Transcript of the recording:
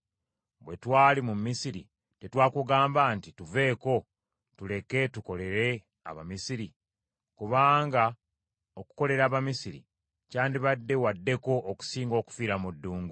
Bwe twali mu Misiri tetwakugamba nti, ‘Tuveeko, tuleke tukolere Abamisiri?’ Kubanga okukolera Abamisiri kyandibadde waddeko okusinga okufiira mu ddungu.”